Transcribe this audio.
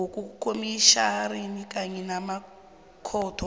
wabokomitjhinari kunye namakhotho